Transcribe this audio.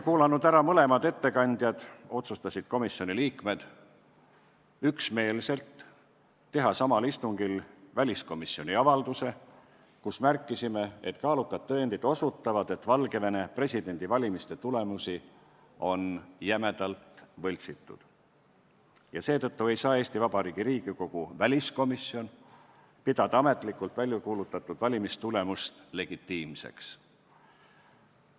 Kuulanud ära mõlemad ettekandjad, otsustasid komisjoni liikmed üksmeelselt teha samal istungil väliskomisjoni avalduse, milles märkisime, et kaalukad tõendid osutavad, et Valgevene presidendivalimiste tulemusi on jämedalt võltsitud, ja seetõttu ei saa Eesti Vabariigi Riigikogu väliskomisjon pidada ametlikult väljakuulutatud valimistulemusi legitiimseks.